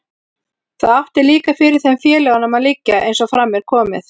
Það átti líka fyrir þeim félögunum að liggja, eins og fram er komið.